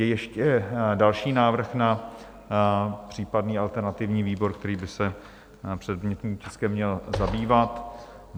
Je ještě další návrh na případný alternativní výbor, který by se předmětným tiskem měl zabývat?